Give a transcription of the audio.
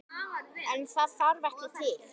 En það þarf ekki til.